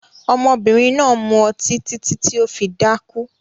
Ọmọbìnrin náà mu ọtí títí tí ó fi dákú